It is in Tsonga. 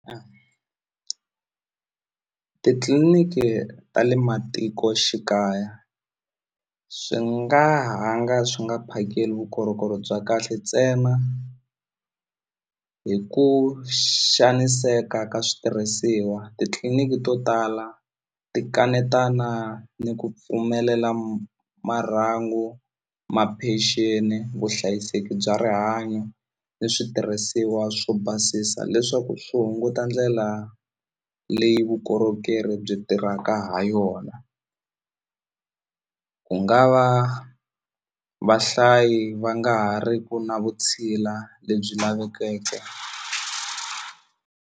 Titliliniki ta le matikoxikaya swi nga ha nga swi nga phakeli vukorhokeri bya kahle ntsena hi ku xaniseka ka switirhisiwa titliliniki to tala ti kanetana ni ku pfumelela marhangu ma pension vuhlayiseki bya rihanyo ni switirhisiwa swo basisa leswaku swi hunguta ndlela leyi vukorhokeri byi tirhaka ha yona ku nga va vahlayi va nga ha ri ku na vutshila lebyi lavekeke.